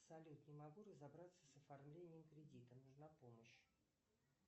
салют не могу разобраться с оформлением кредита нужна помощь